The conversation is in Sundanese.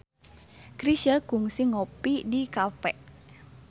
Chrisye kungsi ngopi di cafe